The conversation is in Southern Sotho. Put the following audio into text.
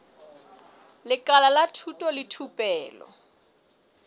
lekala la thuto le thupelo